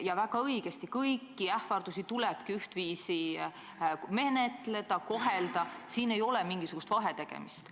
Ja väga õige, kõiki ähvardusi tulebki ühtviisi menetleda, kohelda – siin ei tohi olla mingisugust vahetegemist.